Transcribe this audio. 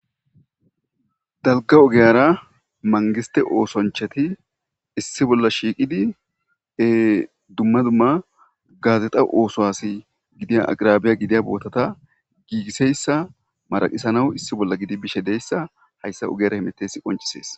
dalka ogiyara mangiste oosonchati issi bolla shiiqidi e dumma dumma gaazexa oosohasi gidiya agrabiya gidiya bootata giigiseyssa maraqisanaw issi bolla gidi bishe deyssa hayssa ogiyara himites qoncisees